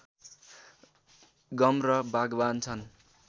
गम र बागबान छन्